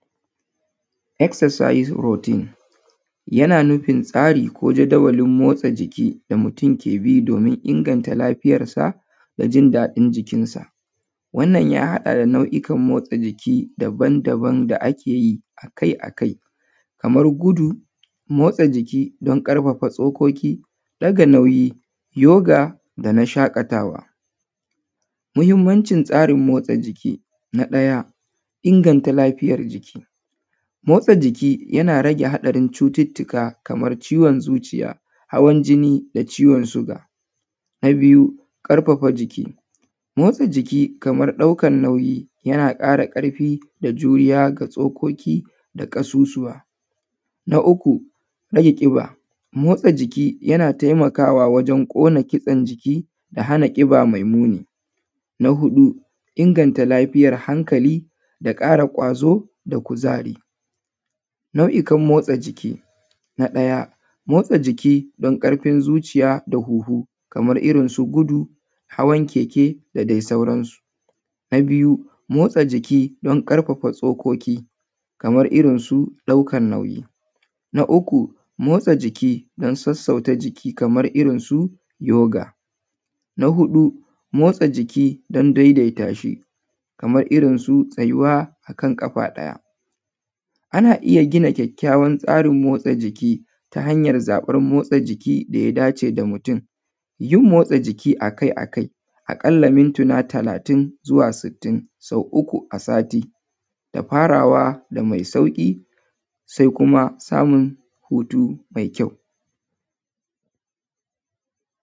Exercise or routine yana nufin tsari ko jadawalin motsa jiki da mutum yake bi domin inganta lafiyarsa da jin daɗin jikinsa. Wannan ya haɗa da nau’ikan motsa jiki daban daban da ake yi a kai a kai kamar gudu, motsa jiki don ƙarfafa tsokoki, ɗaga nauyi, yoga da na shaƙatawa. Muhimmancin tsarin motsa jiki: na ɗaya, inganta lafiyar jiki. Motsa jiki yana rage haɗarin cututtuka kamar ciwon zuciya, hawan jini da ciwon suga. Na biyu, ƙarfafa jiki, motsa jiki kamar ɗaukar nauyi yana ƙara ƙarfi da juriya ga tsokoki da ƙasusuwa. Na uku, rage ƙiba, motsa jiki yana taimakawa wajen ƙona kitsen jiki da hana ƙiba mai muni. Na huɗu, inganta lafiyar hankali da ƙara ƙwazo da kuzari. Nau’ikan motsa jiki: na ɗaya, motsa jiki don ƙarfin zuciya da huhu kamar irin su gudu, hawan keke da dai sauransu. Na biyu, motsa jiki don ƙarfafa tsokoki kamar irin su ɗaukar nauyi. Na uku, motsa jiki don sassauta jiki kamar irin su yoga. Na uku, motsa jiki don sassauta jiki kamar irin su yoga. kamar irin su tsayuwa kan ƙafa ɗaya. Ana iya gina kyakkyawan tsarin motsa jiki ta hanyar zaɓar motsa jiki da ya dace da mutum. Yin motsa jiki a kai a kai, a ƙalla mintuna talatin zuwa sittin, sau uku a sati, da farawa da mai sauƙi, sai kuma samun hutu mai kyau.